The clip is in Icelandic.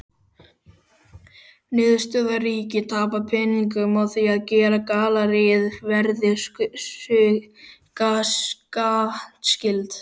Niðurstaða: Ríkið tapaði peningum á því að gera galleríið virðisaukaskattskylt!